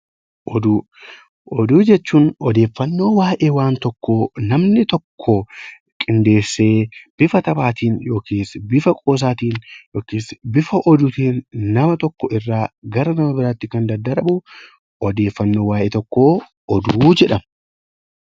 Oduu jechuun odeeffannoo waayee waan tokkoo namni tokko qindeessee bifa taphaatiin yookaan bifa qoosaatiin yookaan bifa oduutiin nama tokkorraa gara nama biraatti kan daddarbu odeeffannoon waayee tokkoo oduu jedhama